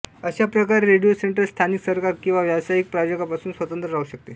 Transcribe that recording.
अशा प्रकारे radio central स्थानिक सरकार किंवा व्यावसायिक प्रायोजकांपासून स्वतंत्र राहू शकते